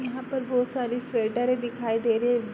यहाँ पर बहोत सारे स्वेटरे दिखाई दे रही --